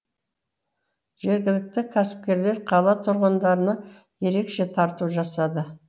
жергілікті кәсіпкерлер қала тұрғындарына ерекше тарту жасады